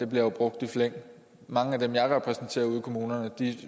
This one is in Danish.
bliver jo brugt i flæng mange af dem jeg repræsenterer ude i kommunerne